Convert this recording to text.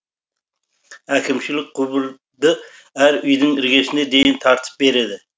әкімшілік құбырды әр үйдің іргесіне дейін тартып береді